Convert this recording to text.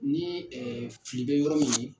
Ni fili bɛ yɔrɔ min na.